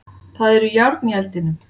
Það eru járn í eldinum.